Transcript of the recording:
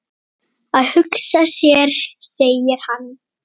Að hugsa sér segir hann.